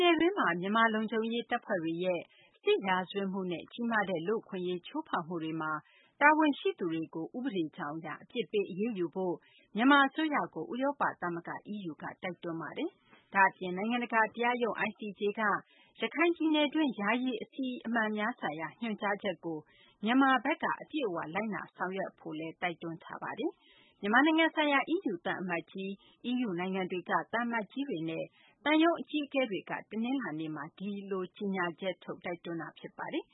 နယ်တွင်းမှာ မြန်မာလုံခြုံရေး တပ်ဖွဲ့တွေရဲ့ စစ်ရာဇဝတ်မှုနဲ့ ကြီးမားတဲ့ လူ့အခွင့်အရေး ချိုးဖောက်မှုတွေမှာ တာဝန်ရှိသူတွေကို တရားဥပဒေကြောင်း အရ အပြစ်ပေး အရေးယူဖို့ မြန်မာအစိုးရကို ဥရောပ သမဂ္ဂ EU က တိုက်တွန်းလိုက်ပါတယ်။ ဒါ့အပြင် နိုင်ငံတကာ တရားရုံး ICJ က ရခိုင်ပြည်နယ်တွင်း ယာယီ အစီအမံများဆိုင်ရာ ညွှန်ကြားချက်ကိုလည်း မြန်မာဘက်က အပြည့်အ၀ လိုက်နာဆောင်ရွက်ဖို့ မျှော်လင့်ကြောင်းလည်း EU ဘက်က ပြောဆိုလိုက်ပါတယ်။ မြန်မာနိုင်ငံဆိုင်ရာ EU သံအမတ်ကြီး၊ EU နိုင်ငံတွေက သံအမတ်ကြီးတွေနဲ့ သံရုံး အကြီးအကဲတွေက တနလာၤနေ့က အခုလို ကြေညာချက် ထုတ် တိုက်တွန်းတာ ဖြစ်ပါတယ်